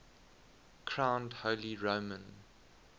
crowned holy roman